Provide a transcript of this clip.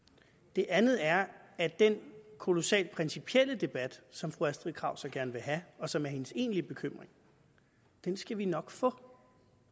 det andet er at den kolossalt principielle debat som fru astrid krag så gerne vil have og som er hendes egentlige bekymring skal vi nok få